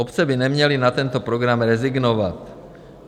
Obce by neměly na tento program rezignovat.